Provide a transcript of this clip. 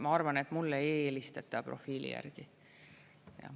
Ma arvan mulle ei helistata profiili järgi.